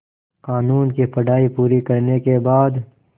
क़ानून की पढा़ई पूरी करने के बाद